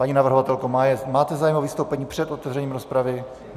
Paní navrhovatelko, máte zájem o vystoupení před otevřením rozpravy?